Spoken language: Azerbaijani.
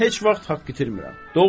Mən heç vaxt haqq itirmirəm.